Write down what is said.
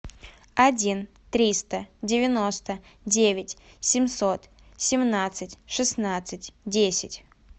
один триста девяносто девять семьсот семнадцать шестнадцать десять